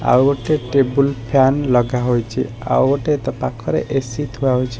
ଆଉ ଗୋଟେ ଟେବୁଲ୍ ଫ୳୲ନ ଲଗାହେଇଚି। ଆଉ ଗୋଟେ ତା ପାଖରେ ଏ_ସି ଥୁଆ ହେଇଛି।